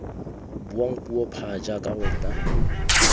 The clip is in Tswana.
buang puo pha jaaka wena